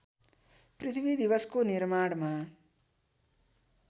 पृथ्वी दिवसको निर्माणमा